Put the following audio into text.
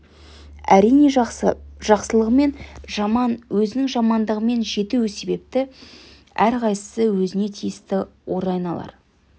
әрине жақсы жақсылығымен жаман өзінің жамандығымен жету себепті әрқайсысы өзіне тиісті орайын алар